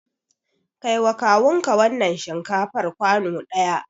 Kai wa kawun ka wannan shinkafar kwano ɗaya!